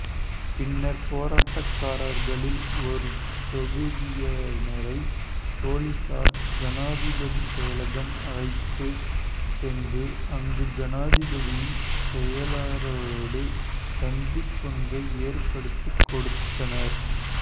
பின்னர் போராட்டக்காரர்களில் ஒருதொகுதியினரை பொலிசார் ஜனாதிபதி செயலகம் அழைத்து சென்று அங்கு ஜனாதிபதியின் செயலாளரோடு சந்திப்பொன்றை ஏற்ப்படுத்தி கொடுத்தனர்